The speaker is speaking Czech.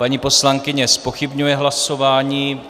Paní poslankyně zpochybňuje hlasování.